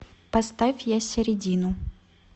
поставь ясередину